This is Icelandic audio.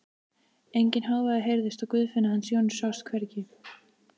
Enginn hávaði heyrðist og Guðfinna hans Jóns sást hvergi.